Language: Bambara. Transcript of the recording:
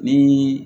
Ni